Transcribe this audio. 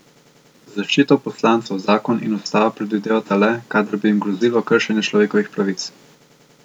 Zaščito poslancev zakon in ustava predvidevata le, kadar bi jim grozilo kršenje človekovih pravic.